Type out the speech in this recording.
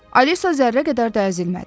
Alisa zərrə qədər də əzilmədi.